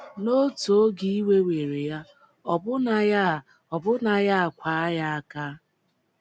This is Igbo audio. N’otu oge iwe were ya, ọbụna ya, ọbụna ya akwaa ya aka!